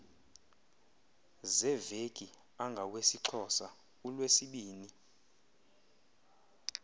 zeveki angawesixhosa ulwesibini